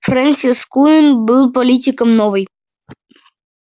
фрэнсис куинн был политиком новой